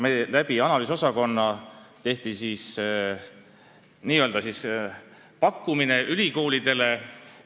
Kantselei analüüsiosakonna kaudu tehtigi selline pakkumine ülikoolidele.